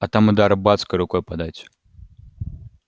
а там и до арбатской рукой подать